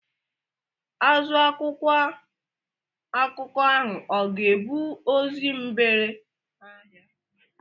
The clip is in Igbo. Azụ akwụkwọ akụkọ ahụ ọ ga-ebu ozi mgbere ahịa?